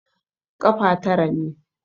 Ƙafa tara ne.